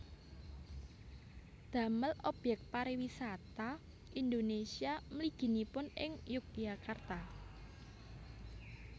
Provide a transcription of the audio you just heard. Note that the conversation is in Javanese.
Damel objek pariwisata Indonesia mliginipun ing Yogyakarta